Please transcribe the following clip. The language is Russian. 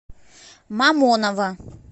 мамоново